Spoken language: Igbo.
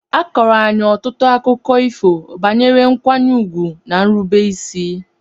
A kọọrọ anyị ọtụtụ akụkọ ifo banyere nkwanye ùgwù na nrubeisi.